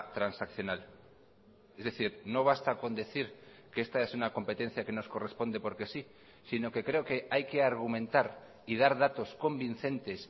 transaccional es decir no basta con decir que esta es una competencia que nos corresponde porque sí sino que creo que hay que argumentar y dar datos convincentes